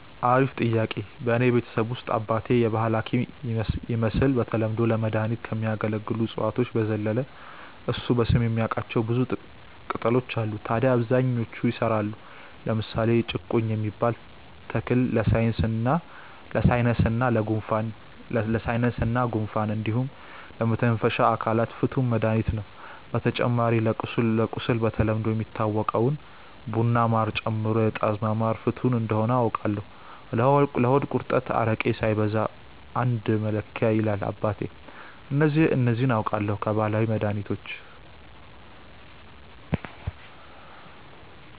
አሪፍ ጥያቄ፣ በእኔ ቤተሰብ ውስጥ አባቴ የባህል ሀኪም ይመስል በተለምዶ ለመድኃኒትነት ከሚያገለግሉ እፅዋት በዘለለ እሱ በስም የሚያቃቸው ብዙ ቅጣሎች አሉ ታድያ አብዛኞቹ ይሰራሉ። ለምሳሌ ጭቁኝ የሚባል ተክል ለሳይነስ እና ጉንፋን እንዲሁም ለመተንፈሻ አካላት ፍቱን መድሀኒት ነው። በተጨማሪ ለቁስል በተለምዶ የሚታወቀውን ቡና በማር ጨምሮ የጣዝማ ማር ፍቱን እንደሆነ አውቃለው። ለሆድ ቁርጠት አረቄ ሳይበዛ አንድ መለኪያ ይላል አባቴ። እነዚህ አውቃለው ከባህላዊ መድሀኒቶች።